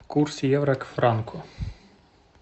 курс евро к франку